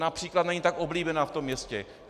Například není tak oblíbená v tom městě.